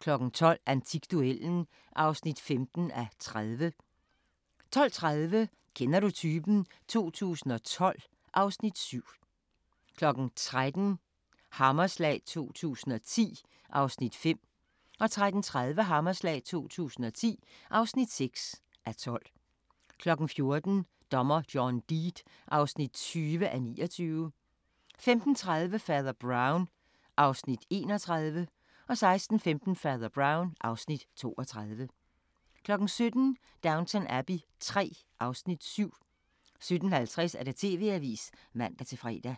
12:00: Antikduellen (15:30) 12:30: Kender du typen? 2012 (Afs. 7) 13:00: Hammerslag 2010 (5:12) 13:30: Hammerslag 2010 (6:12) 14:00: Dommer John Deed (20:29) 15:30: Fader Brown (Afs. 31) 16:15: Fader Brown (Afs. 32) 17:00: Downton Abbey III (Afs. 7) 17:50: TV-avisen (man-fre)